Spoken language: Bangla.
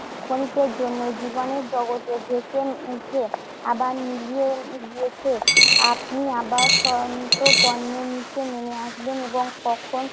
ক্ষণিকের জন্য জীবাণুর জগতে জেগে উঠে আবার মিলিয়ে গিয়েছে। আপনি আবার সন্তপর্ণে নিচে নেমে আসবেন এবং তখন